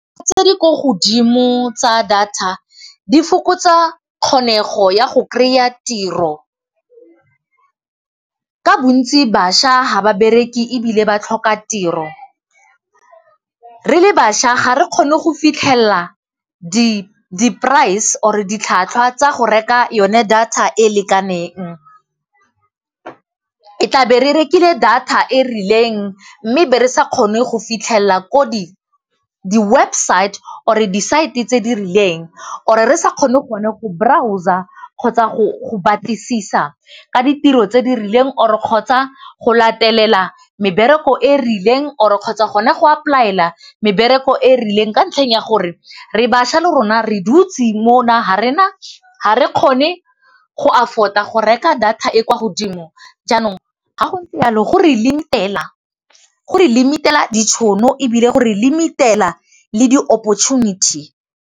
Tse di kwa godimo tsa data di fokotsa kgonego ya go kry-a tiro. Ka bontsi bašwa ga ba bereke ebile ba tlhoka tiro, re le bašwa ga re kgone go fitlhella di-price or ditlhwatlhwa tsa go reka yone data e lekaneng. E tla be re rekile data e rileng mme be re sa kgone go fitlhella ko di-website or di-site tse di rileng or-re sa kgone go ne go browser kgotsa go batlisisa ka ditiro tse di rileng or-re kgotsa go latelela mebereko e rileng or kgotsa go ne go apply-ela mebereko e rileng ka ntlheng ya gore re bašwa le rona re dutse mona ga re na, ga re kgone go afford-a go reka data e kwa godimo jaanong ga go le jalo go re limit-ela ditšhono ebile gore limit-ela le di-opportunity.